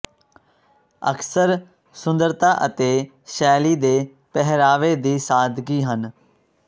ਅਕਸਰ ਸੁੰਦਰਤਾ ਅਤੇ ਸ਼ੈਲੀ ਦੇ ਪਹਿਰਾਵੇ ਦੀ ਸਾਦਗੀ ਹਨ